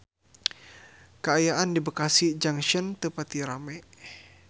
Kaayaan di Bekasi Junction teu pati rame